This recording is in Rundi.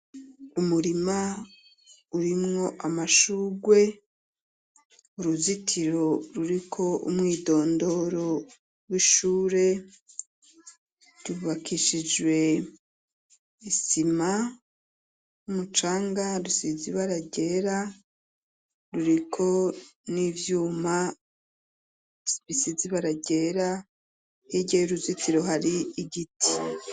Umurima urimwo amashugwe, uruzitiro ruriko umwidondoro w'ishure ryubakishijwe isima n'umucanga, rusize ibara ryera, ruriko n'ivyuma bisize ibara ryera, hirya y'uruzitiro hari igiti.